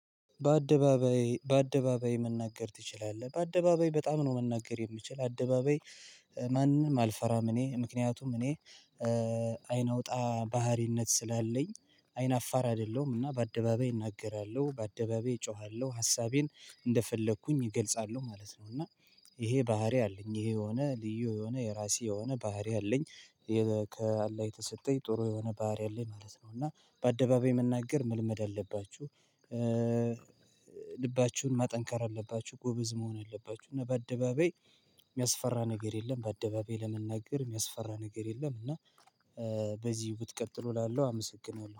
በአደባባይ በአደባባይ መናገር ትችላለህ? በአደባባይ በጣም ነው መናገር የምችል አደባባይ ማንም አልፈራም እኔ ምክንያቱም እኔ አይን አውጣ ባህሪነት ስላለኝ አይን አፋር አይደለሁም እና በአደባባይ እናገራለሁ በአደባባይ እጮሃለሁ ሀሳብን እንደፈለኩኝ እገልጻለሁ ማለት ነው እና ይሄ ባህሪ አለኝ ይሄ የሆነ ልዪ የሆነ የራሴ የሆነ ባህረ አለኝ ከአላ የተሰጠኝ ጥሩ የሆነ ባርያ አለኝ ማለት ነው። እና በአደባባይ መናገር መልመድ አለባችሁ ልባችሁን ማጠንከር አለባችሁ ጎበዝ መሆን አለባችሁ እና በአደባባይ የሚያስፈራ ነገር የለም በአደባባይ ለመናገር የሚያስፈራ ነገር የለም እና በዚሁ ብትቀጥሉ እላለሁ አመሰግናለሁ